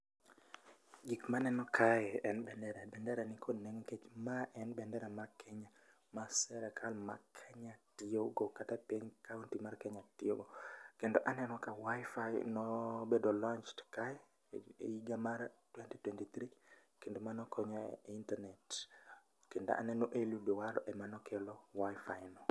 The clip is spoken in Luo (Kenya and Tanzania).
Gik maneno kae en bendera mar Kenya, ma sirkal mar Kenya tiyogo kata piny kaunty mar Kenya tiyogo, kendo aneno ka Wi-Fi nobedo launched kae iga mar twenty-twenty-three kendo mano konyo e internet kendo aneno Eliud Owalo emanokelo Wi-Fi no.